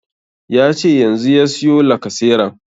Yace yanzu ya siyo lacaseran